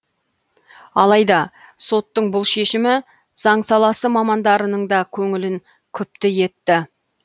алайда соттың бұл шешімі заң саласы мамандарының да көңілін күпті етті